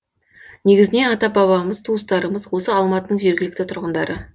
негізінен ата бабамыз туыстарымыз осы алматының жергілікті тұрғындары